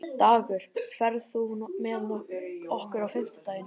Dagur, ferð þú með okkur á fimmtudaginn?